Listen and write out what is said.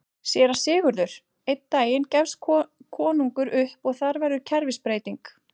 SÉRA SIGURÐUR: Einn daginn gefst konungur upp og þar verður kerfisbreyting!